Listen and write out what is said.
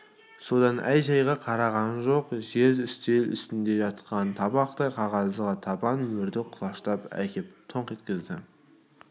содан әй-шәйға қараған жоқ жер үстел үстінде жатқан табақтай қағазға табан мөрді құлаштап әкеп тоңқ еткізді